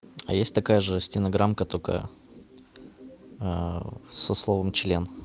а есть такая же стенограмка только со словом член